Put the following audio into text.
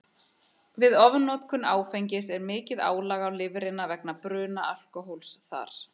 Við ofnotkun áfengis er mikið álag á lifrina vegna bruna alkóhólsins þar.